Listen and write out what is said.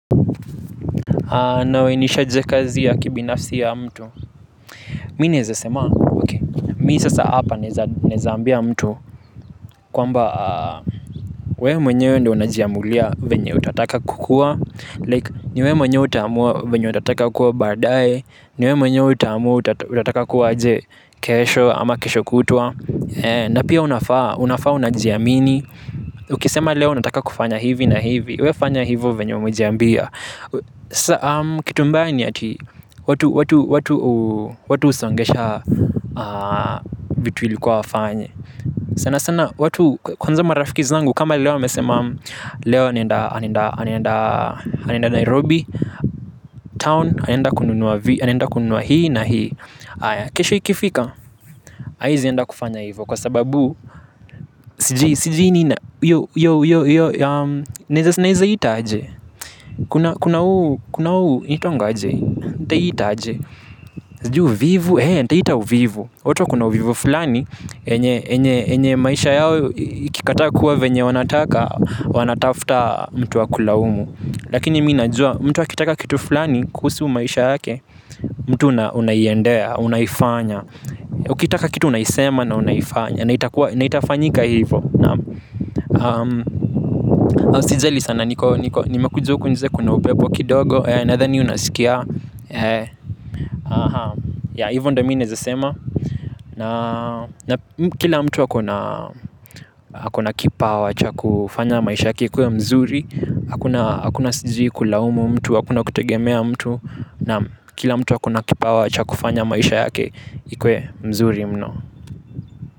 Nawainishaje kazi ya kibinafsi ya mtu. Mi naeza sema. Mi sasa hapa naeza ambia mtu kwamba we mwenyewe ndo unajiamulia venye utataka kukua Like ni we mwenyewe utaamua venye utataka kuwa badaye. Ni we mwenye utamua utataka kuwa aje kesho ama kesho kutwa na pia unafaa unajiamini. Ukisema leo unataka kufanya hivi na hivi We fanya hivo venye umajiambia. Kitu mbaya ni ati watu husongesha. Vitu ilikuwa wafanye sana sana kwanza marafiki zangu kama leo wamesema. Leo anaenda Nairobi Town. Anaenda kununua hii na hii. Kesho ikifika haezi enda kufanya hivo kwa sababu sijui sijui nini ina hiyo hiyo. Naeza ita aje. Kuna huu inaitangwa aje hii. Nitaiita aje. Sijui uvivu, hee nitaita uvivu watu wakona uvivu fulani yenye maisha yao ikikataa kuwa venye wanataka. Wanatafuta mtu wa kulaumu. Lakini mi najua mtu akitaka kitu fulani kuhusu maisha yake. Mtu unaiendea, unaifanya. Ukitaka kitu unaisema. Na unaifanya, na itafanyika hivo. Naam. Usijali sana niko niko. Nimekuja huku nje kuna upepo kidogo. Nathani unasikia. Ya hivo ndo mi naeza sema. Na kila mtu akona kipawa cha kufanya maisha yake ikuwe mzuri. Hakuna sijui kulaumu mtu, hakuna kutegemea mtu. Naam. Kila mtu akona kipawa cha kufanya maisha yake ikuwe mzuri mno.